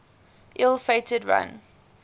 ill fated run